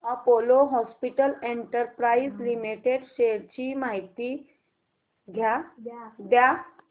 Apollo hospitals enterprise limited shares ची माहिती द्या